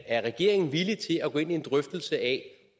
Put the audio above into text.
er regeringen villig til at gå ind i en drøftelse af